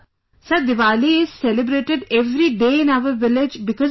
Sir, Diwali is celebrated every day in our village because of you